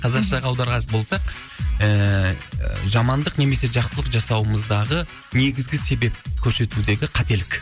қазақшаға аударар болсақ ііі жамандық немесе жақсылық жасауымыздағы негізгі себеп көрсетудегі қателік